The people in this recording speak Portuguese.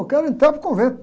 Eu quero entrar no convento.